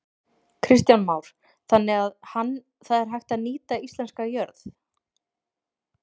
Kristján Már: Þannig að hann, það er hægt að nýta íslenska jörð?